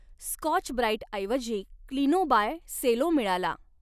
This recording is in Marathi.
स्कॉच ब्राईटऐवजी क्लीनोबाय सेलो मिळाला